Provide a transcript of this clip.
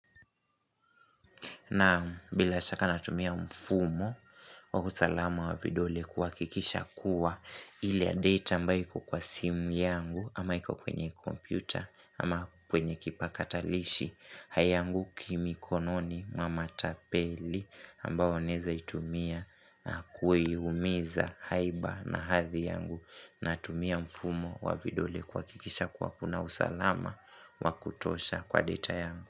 Naam bila shaka natumia mfumo wa usalama wa vidole kuakikisha kuwa ile ya data ambayo iko kwa simu yangu ama iko kwenye komputa ama kwenye kipakatalishi haianguki mikononi mwa matapeli ambao wanaeza itumia kuimiza haiba na hadhi yangu natumia mfumo wa vidole kuakikisha kuwa kuna usalama wa kutosha kwa data yangu.